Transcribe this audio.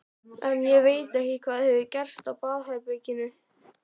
En ég veit ekki hvað hefur gerst á baðherberginu.